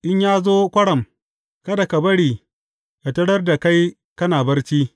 In ya zo kwaram, kada ka bari yă tarar da kai kana barci.